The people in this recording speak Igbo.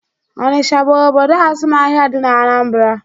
Onicha bụ obodo azụmahịa dị n'Anambra